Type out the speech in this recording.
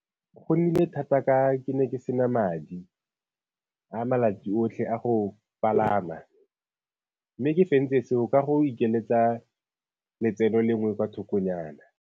Go nnile thata ka ke ne ke se na madi a malatsi otlhe a go palama, mme ke fentse seo ka go o ikeletsa letseno lengwe kwa thokonyana.